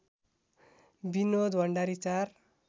Binod Bhandari ४